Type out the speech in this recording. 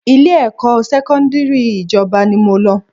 Ilé-ẹ̀kọ́ sẹ́kọ́ndírì ìjọba ni mo lọ